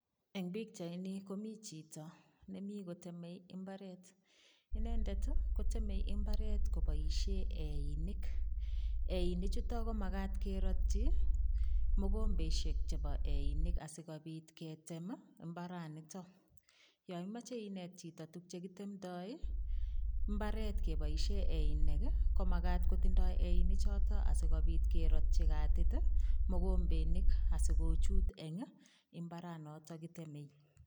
Eng pichaini komi chito nemi koteme imbaret. Inendet koteme imbaret koboisie einik. Einik chuto ko magat kerotyi mogombesiek chebo einik asigopit ketem mbaranitok. Yo imoche inet chito tuk che kitemndoi mbaret keboisien einik, komagat kotindo einik choto asigopit kerotyi katit ii mogombenik asigochut eng imbaranoto kitemei.